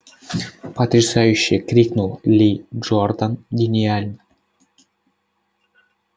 потрясающе крикнул ли джордан гениально